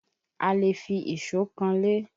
A lè fi ìṣó kanlé